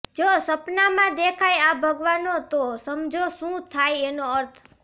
જો સપનામાં દેખાય આ ભગવાનો તો સમજો શું થાય એનો અર્થ